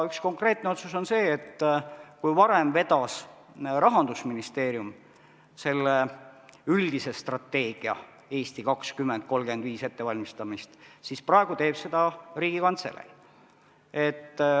Üks konkreetne otsus on see, et kui varem vedas Rahandusministeerium selle üldise strateegia "Eesti 2035" ettevalmistamist, siis praegu teeb seda Riigikantselei.